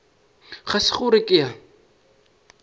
ga se gore ke a